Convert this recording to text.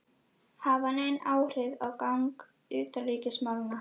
hafa nein áhrif á gang utanríkismálanna.